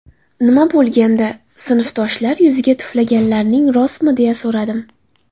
Nima bo‘lgandi, sinfdoshlar yuziga tuflaganlaring rostmi deya so‘radim.